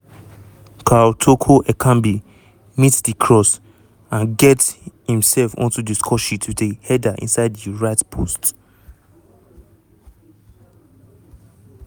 karl toko ekambi meet di cross and get imself onto di scoresheet wit a header inside di right post.